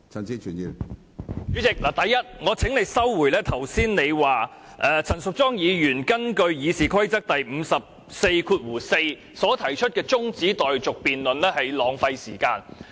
主席，第一，我請你收回你剛才說陳淑莊議員根據《議事規則》第544條提出的中止待續議案辯論是浪費時間這句說話。